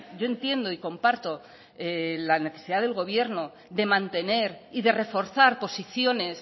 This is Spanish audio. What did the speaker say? yo entiendo y comparto la necesidad del gobierno de mantener y de reforzar posiciones